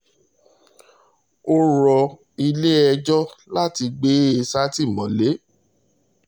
ó rọ ilé-ẹjọ́ láti gbé e sátìmọ́lé